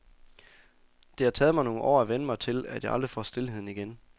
Det har taget mig nogle år at vænne mig til, at jeg aldrig får stilheden igen.